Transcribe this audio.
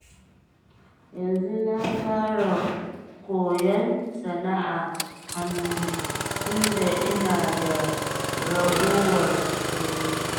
Yanzu na fara koyon sana'ar hannu, tunda ina da ragowar ƙuruciya.